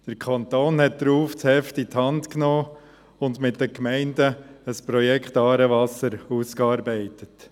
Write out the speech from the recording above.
Der Kanton nahm daraufhin das Heft in die Hand und arbeitete mit den Gemeinden ein Projekt «Aarewasser» aus.